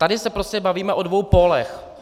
Tady se prostě bavíme o dvou pólech.